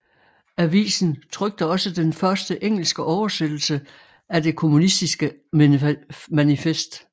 Avisen trykte også den første engelske oversættelse af Det Kommunistiske Manifest